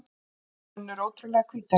Hendur Hönnu eru ótrúlega hvítar.